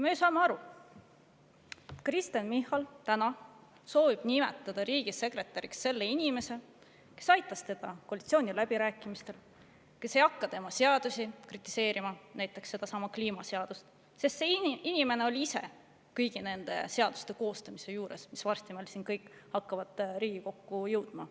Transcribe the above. Me saame ju aru, et Kristen Michal soovib nimetada riigisekretäriks selle inimese, kes aitas teda koalitsiooniläbirääkimistel ja kes ei hakka tema seadusi kritiseerima, näiteks sedasama kliimaseadust, sest see inimene oli ise kõigi nende seaduste koostamise juures, mis hakkavad varsti meile siia Riigikokku jõudma.